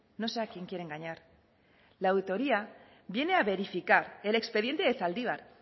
no sé a quién quiere engañar la auditoría viene a verificar el expediente de zaldibar